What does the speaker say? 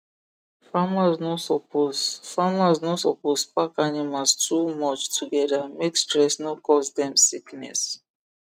farmers no suppose farmers no suppose pack animals too much together make stress no cause dem sickness